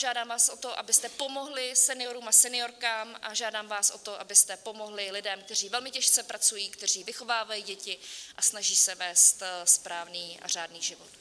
Žádám vás o to, abyste pomohli seniorům a seniorkám, a žádám vás o to, abyste pomohli lidem, kteří velmi těžce pracují, kteří vychovávají děti a snaží se vést správný a řádný život.